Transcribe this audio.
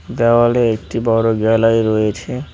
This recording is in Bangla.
দেওয়ালে একটি বড়ো গ্যালারি রয়েছে।